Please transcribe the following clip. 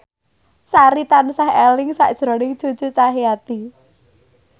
Sari tansah eling sakjroning Cucu Cahyati